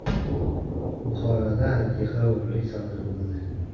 Buxoroda antiqa o‘g‘rilik sodir bo‘ldi.